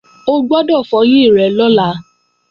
O gbọ́dọ̀ fọyín rẹ lọ́la!